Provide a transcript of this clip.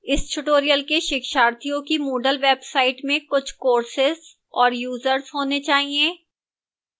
इस tutorial के शिक्षार्थियों की moodle website में कुछ courses और users होने चाहिए